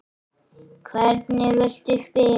Hvernig viltu spila?